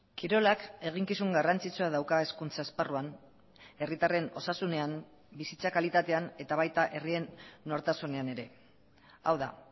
kirolak eginkizun garrantzitsua dauka hezkuntza esparruan herritarren osasunean bizitza kalitatean eta baita herrien nortasunean ere hau da